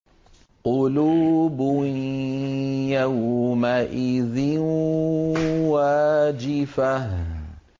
قُلُوبٌ يَوْمَئِذٍ وَاجِفَةٌ